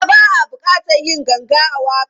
A'a, ba a buƙatar yin ganga a waƙar.